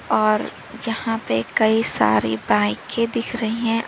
और यहां पे कई सारी बाईकें दिख रही है।